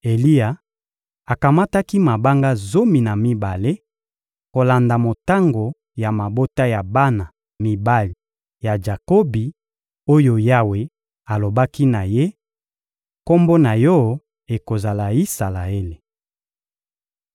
Eliya akamataki mabanga zomi na mibale kolanda motango ya mabota ya bana mibali ya Jakobi oyo Yawe alobaki na ye: «Kombo na yo ekozala Isalaele.»